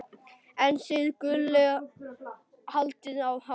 en þið Gulli haldið hárinu.